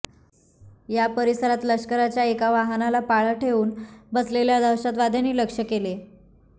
या परिसरात लष्कराच्या एका वाहनाला पाळत ठेवून बसलेल्या दहशतवाद्यांनी लक्ष्य केले